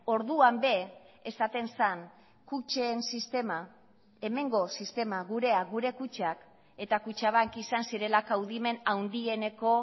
orduan ere esaten zen kutxen sistema hemengo sistema gurea gure kutxak eta kutxabank izan zirela kaudimen handieneko